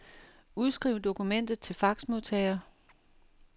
Udskriv dokumentet til faxmodtager.